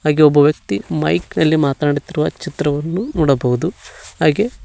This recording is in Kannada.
ಹಾಗೇ ಒಬ್ಬ ವ್ಯಕ್ತಿ ಮೈಕ್ ನಲ್ಲಿ ಮಾತಾನಾಡುತ್ತಿರುವ ಚಿತ್ರವನ್ನು ನೋಡಬಹುದು ಹಾಗೇ --